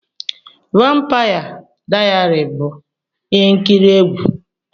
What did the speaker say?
Vampaya Dayari bụ ihe nkiri egwu.